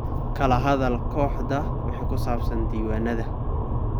Kala hadal kooxda wixii ku saabsan diiwaanada.